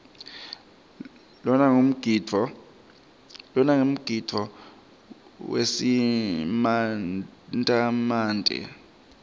lona ngumgidvo wesimantemante